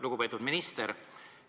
Lugupeetud minister!